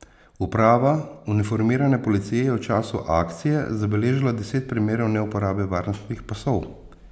Uprava uniformirane policije je v času akcije zabeležila deset primerov neuporabe varnostnih pasov.